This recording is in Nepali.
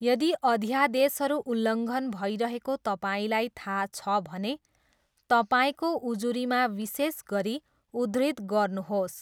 यदि अध्यादेशहरू उल्लङ्घन भइरहेको तपाईँलाई थाहा छ भने तपाईँको उजुरीमा विशेष गरी उद्धृत गर्नुहोस्।